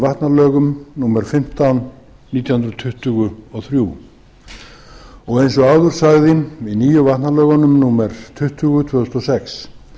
vatnalögum númer fimmtán nítján hundruð tuttugu og þrjú og eins og áður sagði í nýjum vatnalögunum númer tuttugu tvö þúsund og sex